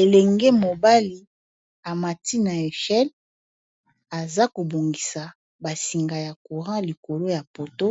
elenge mobali amati na nzete aza kobongisa basinga ya courant likolo ya poto